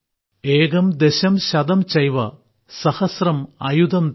ഏകം ദശം ശതം ചൈവ സഹസ്രം അയുതം തഥാ